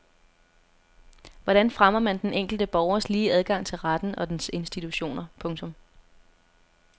Hvordan fremmer man den enkelte borgers lige adgang til retten og dens institutioner. punktum